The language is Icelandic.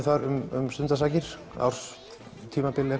þar um stundarsakir árs tímabili